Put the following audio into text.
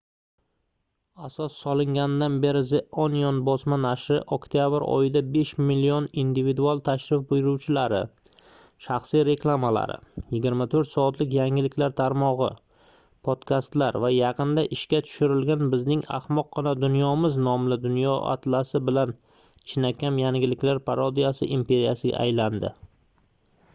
asos solinganidan beri the onion bosma nashri oktyabr oyida 5 000 000 individual tashrif buyuruvchilari shaxsiy reklamalar 24 soatlik yangiliklar tarmogʻi podkastlari va yaqinda ishga tushirilgan bizning ahmoqqina dunyomiz nomli dunyo atlasi bilan chinakam yangiliklar parodiyasi imperiyasiga aylandi